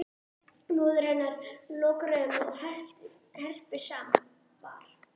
Móðir hennar lokar augunum og herpir saman var